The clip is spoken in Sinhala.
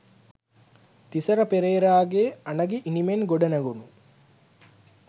තිසර පෙරේරාගේ අනගි ඉනිමෙන් ගොඩනැගුණු